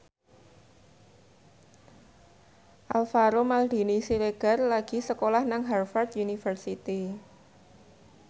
Alvaro Maldini Siregar lagi sekolah nang Harvard university